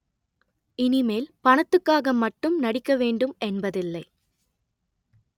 இனிமேல் பணத்துக்காக மட்டும் நடிக்க வேண்டும் என்பதில்லை